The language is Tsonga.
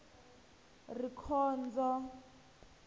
rikhondzo